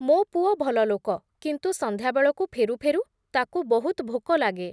ମୋ ପୁଅ ଭଲଲୋକ, କିନ୍ତୁ ସନ୍ଧ୍ୟାବେଳକୁ ଫେରୁ ଫେରୁ, ତା’କୁ ବହୁତ୍ ଭୋକ ଲାଗେ ।